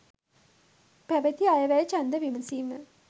පැවැති අයවැය ඡන්ද විමසීම